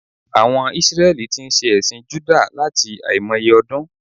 Àwon Isreli tí n se èsìn Júdà láti àìmoye odún